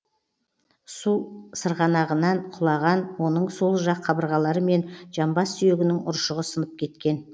су сырғанағынан құлаған оның сол жақ қабырғалары мен жамбас сүйегінің ұршығы сынып кеткен